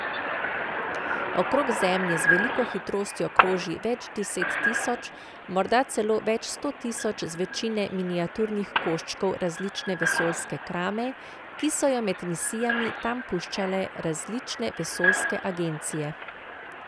Okrog Zemlje z veliko hitrostjo kroži več deset tisoč, morda celo več sto tisoč zvečine miniaturnih koščkov različne vesoljske krame, ki so jo med misijami tam puščale različne vesoljske agencije.